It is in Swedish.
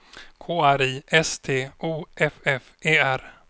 K R I S T O F F E R